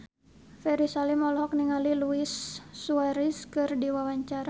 Ferry Salim olohok ningali Luis Suarez keur diwawancara